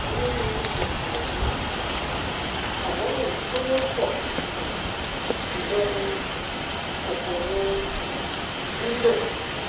onírúurú kòkòrò ló ń fà á àmọ èyí tó wọ́pọ um jùlọ ní um kòkòrò um rhino